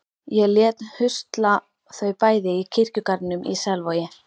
Ég lét husla þau bæði í kirkjugarðinum í Selvogi.